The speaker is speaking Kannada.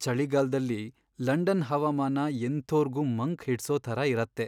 ಚಳಿಗಾಲ್ದಲ್ಲಿ ಲಂಡನ್ ಹವಾಮಾನ ಎಂಥೋರ್ಗೂ ಮಂಕ್ ಹಿಡ್ಸೋ ಥರ ಇರತ್ತೆ.